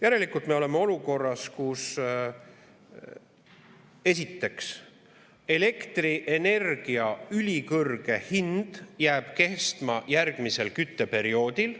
Järelikult me oleme olukorras, kus esiteks elektrienergia ülikõrge hind jääb kestma järgmisel kütteperioodil.